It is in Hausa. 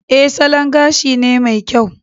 E, salon gashi ne mai kyau